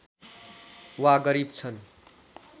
वा गरिब छन्